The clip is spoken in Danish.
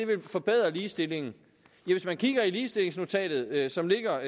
vil forbedre ligestillingen ja hvis man kigger i ligestillingsnotatet som ligger